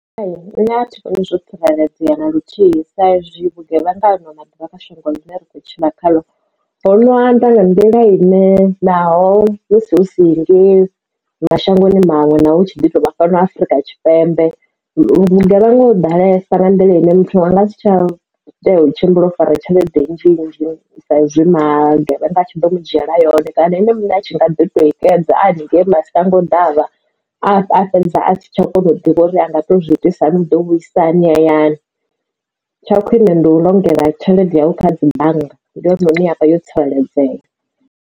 Hai nṋe athivhoni zwo tsireledzea na luthihi sa izwi vhugevhenga ano maḓuvha kha shango ḽine ra khou tshila khaḽo ho no anda nga nḓila ine naho hu si henengeyi mashangoni maṅwe naho hu tshi ḓi tovha fhano afrika tshipembe vhugevhenga ho ḓalesa nga nḓila ine muthu anga si tsha tea u tshimbila o fara tshelede nzhinzhi sa izwi magevhenga a tshi ḓo mudzhiela yone kana ene muṋe a tshi nga ḓi to i xedza a haningei mashango ḓavha a fhedza a si tsha u kona u ḓivha uri anga to zwi itisa hani u ḓo vhuisa hani hayani tsha khwine ndi u longela tshelede yau kha dzi bannga ndi hone hune yavha yo tsireledzea.